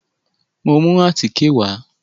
Mo mú àtíkè wà.